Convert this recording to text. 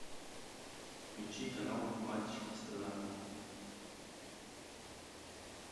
включи канал матч страна